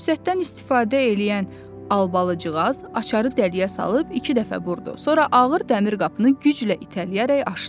Fürsətdən istifadə eləyən Albalıcığaz açarı dəliyə salıb iki dəfə vurdu, sonra ağır dəmir qapını güclə itələyərək aşdı.